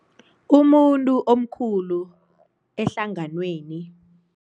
Umuntu omkhulu ehlanganweni.